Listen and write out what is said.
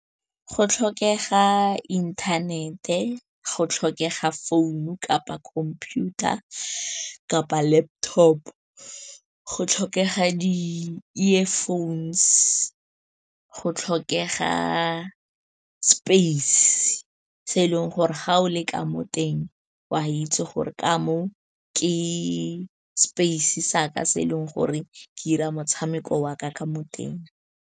Go tlhokega inthanete, go tlhokega founu kapa computer kapa laptop. Go tlhokega di-earphones, go tlhokega space, se e leng gore ga o le ka mo teng, oa itse gore ka mo ke space saka, se e leng gore ke 'ira motshameko waka ka mo teng.